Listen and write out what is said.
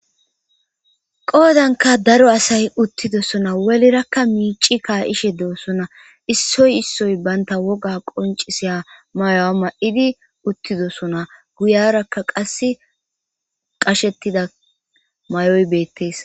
qoodanka daro asay uttidosona welirakka miici kaa7ishe doosona issoy issoy banta woga qoncisiya mayo7a ma7idi uttidosona guyarakka qass qashetida may7oy beettees